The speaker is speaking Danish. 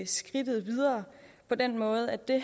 skridtet videre på den måde at det